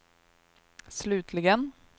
slutligen